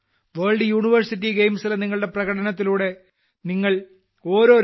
world university ഗെയിംസിലെ നിങ്ങളുടെ പ്രകടനത്തിലൂടെ നിങ്ങൾ ഓരോ രാജ്യക്കാരനും അഭിമനം കൊള്ളിച്ചു